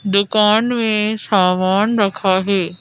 दुकान में सामान रखा है।